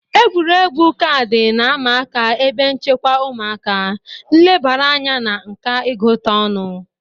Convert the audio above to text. Egwuregwu kaadị na-ama aka ebe nchekwa ụmụaka, nlebara anya na nka ịgụta ọnụ